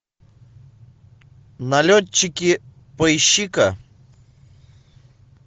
налетчики поищи ка